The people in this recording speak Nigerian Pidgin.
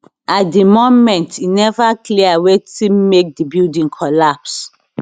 at di moment e neva clear wetin make di building collapse